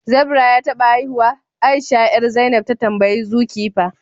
zebra ya taba haihuwa? Aisha 'yar, zainab ta tambayi Zoe kepper